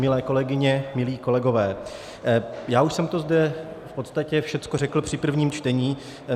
Milé kolegyně, milí kolegové, já už jsem to zde v podstatě všechno řekl při prvním čtení.